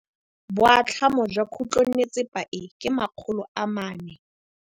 Boatlhamô jwa khutlonnetsepa e, ke 400.